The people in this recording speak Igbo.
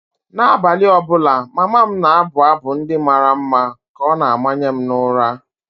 N’abalị ọ bụla, mama m na-abụ abụ ndị mara mma ka ọ na-amanye m ụra.